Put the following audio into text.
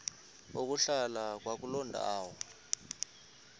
ukuhlala kwakuloo ndawo